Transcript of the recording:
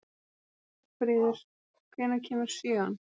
Magnfríður, hvenær kemur sjöan?